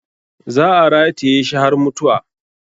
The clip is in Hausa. Za a rataye shi har mutuwa.